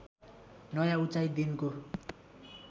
नयाँ उचाइ दिनको